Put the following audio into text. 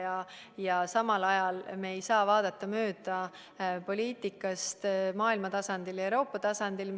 Aga samal ajal me ei saa vaadata mööda poliitikast maailmatasandil ja Euroopa tasandil.